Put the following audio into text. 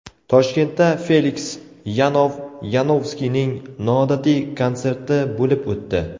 Toshkentda Feliks Yanov-Yanovskiyning noodatiy konserti bo‘lib o‘tdi.